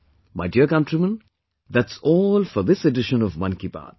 My dear countrymen, that's all for this edition of 'Mann Ki Baat'